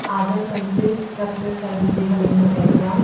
other complete structures are visible in the background.